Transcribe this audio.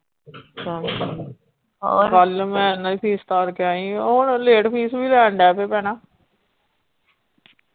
ਕੱਲ ਮੈਂ ਇਹਨਾਂ ਦੀ fees ਤਾਰ ਕੇ ਆਈ ਆ ਹੁਣ late fees ਵੀ ਲੈਣ ਡੈ ਪਏ ਭੈਣਾਂ।